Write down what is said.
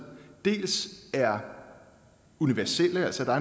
er universelle så der